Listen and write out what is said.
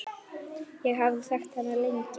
Ég hafði þekkt hana lengi.